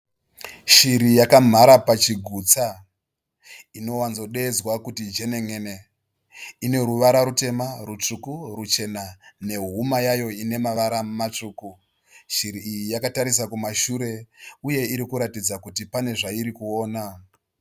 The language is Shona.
Shiri yakamhara pachigutsa. Inowadzodeidzwa kuti jenen'ene. Ineruvara rutema, rutsvuku, ruchena nehuma yayo ine mavara matsvuku. Shiri iyi yakatarisa kumashure uye irikuratidza kuti pane zvairikuona.